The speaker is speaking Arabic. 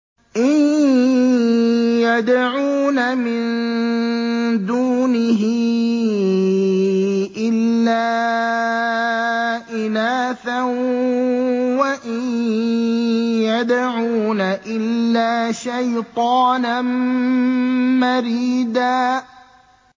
إِن يَدْعُونَ مِن دُونِهِ إِلَّا إِنَاثًا وَإِن يَدْعُونَ إِلَّا شَيْطَانًا مَّرِيدًا